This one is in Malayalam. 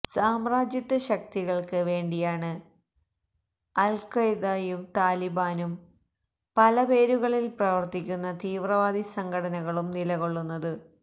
സാമ്രാജ്യത്വ ശക്തികള്ക്ക് വേണ്ടിയാണ് അല്ഖാഇദയും താലിബാനും പല പേരുകളില് പ്രവര്ത്തിക്കുന്ന തീവ്രവാദി സംഘങ്ങളും നിലകൊള്ളുന്നത്